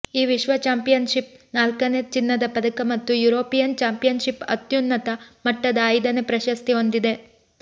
ಈ ವಿಶ್ವ ಚಾಂಪಿಯನ್ಷಿಪ್ ನಾಲ್ಕನೇ ಚಿನ್ನದ ಪದಕ ಮತ್ತು ಯುರೋಪಿಯನ್ ಚಾಂಪಿಯನ್ಷಿಪ್ ಅತ್ಯುನ್ನತ ಮಟ್ಟದ ಐದನೇ ಪ್ರಶಸ್ತಿ ಹೊಂದಿದೆ